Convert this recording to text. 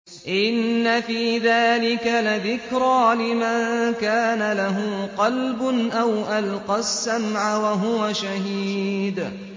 إِنَّ فِي ذَٰلِكَ لَذِكْرَىٰ لِمَن كَانَ لَهُ قَلْبٌ أَوْ أَلْقَى السَّمْعَ وَهُوَ شَهِيدٌ